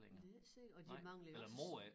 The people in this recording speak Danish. Det ikke sikkert og de mangler jo også